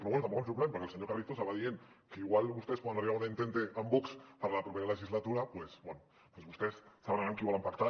però bé tampoc no em sorprèn perquè el senyor carrizosa va dient que igual vostès poden arribar a una entente amb vox per la propera legislatura doncs bé doncs vostès deuen saber amb qui volen pactar